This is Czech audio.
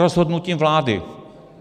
Rozhodnutím vlády.